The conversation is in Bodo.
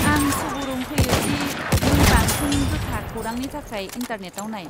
आं सुबुरुव होयो दि नों बांसिन रोखा खौरांनि थाखाय इन्टारनेटआव नाय।